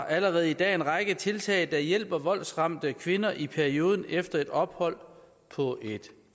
allerede i dag en række tiltag der hjælper voldsramte kvinder i perioden efter et ophold på et